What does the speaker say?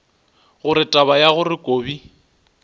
gore taba ya gore kobi